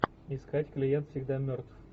искать клиент всегда мертв